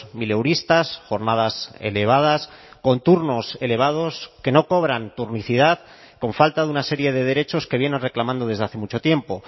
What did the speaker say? mileuristas jornadas elevadas con turnos elevados que no cobran turnicidad con falta de una serie de derechos que vienen reclamando desde hace mucho tiempo